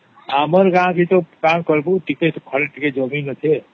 ଆମର ଗାଁ ତା କଣ କହିବୁ ଟିକେ ଭଲ କରି ଜମିନ ଅଛେ